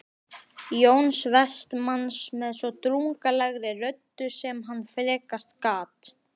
Jóns Vestmanns með svo drungalegri röddu sem hann frekast gat